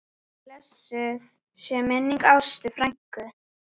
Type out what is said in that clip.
Blessuð sé minning Ástu frænku.